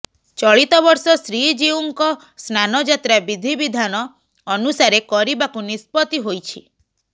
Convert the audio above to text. ଚଳିତ ବର୍ଷ ଶ୍ରୀଜିଉଙ୍କ ସ୍ନାନଯାତ୍ରା ବିଧିବିଧାନ ଅନୁସାରେ କରିବାକୁ ନିଷ୍ପତ୍ତି ହୋଇଛି